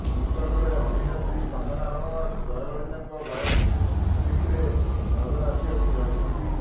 ନିକଟରେ ଅଭିନତ୍ରୀ କଙ୍ଗନା ରଣାଓ୍ବତ ଜୟଲଳିତାଙ୍କ ବାୟୋପିକ୍ରେ ନଜର ଆସିବାକୁ ଯାଉଛନ୍ତି